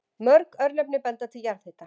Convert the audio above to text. Mörg örnefni benda til jarðhita.